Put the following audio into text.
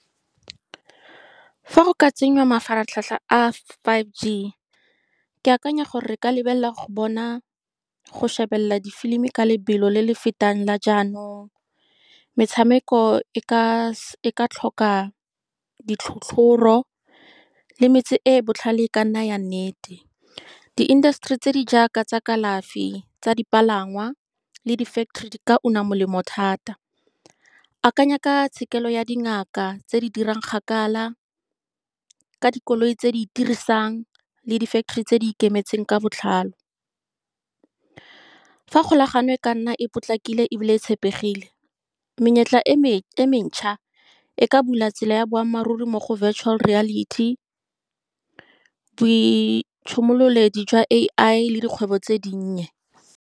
Fa go ka tsenngwa mafaratlhatlha a Five G, ke akanya gore re ka lebelela go bona go shebelela difilimi ka lebelo le le fetang la jaanong. Metshameko e ka e ka tlhoka ditlhotlhoro, le metse e e botlhale e ka nna ya nnete. Di-industry tse di jaaka tsa kalafi, tsa dipalangwa le di-factory di ka molemo thata. Akanya ka tshekelo ya dingaka tse di dirang kgakala, ka dikoloi tse di itirisang, le di-factory tse di ikemetseng ka botlhale. Fa kgolagano e ka nna e potlakile, ebile e tshepegile, menyetla e e mecha e ka bula tsela ya boammaaruri mo go virtual reality jwa A_I le dikgwebo tse dinnye.